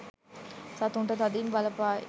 සතුන්ට තදින් බලපායි.